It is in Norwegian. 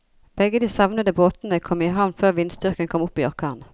Begge de savnede båtene kom i havn før vindstyrken kom opp i orkan.